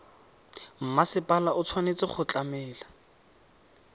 mmasepala o tshwanetse go tlamela